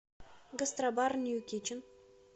гастробар нью китчен